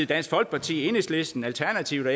dansk folkeparti enhedslisten alternativet